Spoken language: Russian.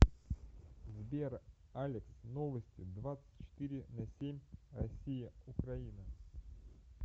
сбер алекс новости двадцать четыре на семь россия украина